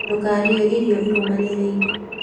Ndũkarĩe irio irũmanĩrĩire